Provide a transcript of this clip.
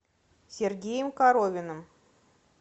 сергеем коровиным